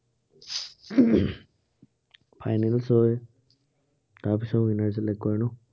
finals হয়। তাৰপিছত winner select কৰে ন